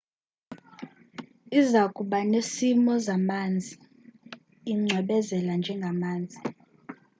izakuba nesimo zamanzi icwebezela njengamazi